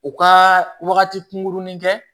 U ka wagati kunkurunin kɛ